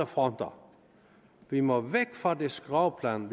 fronter vi må væk fra det skråplan